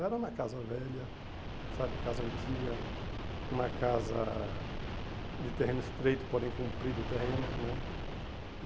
Era uma casa velha, sabe, casa antiga, uma casa de terreno estreito, porém comprido o terreno, né?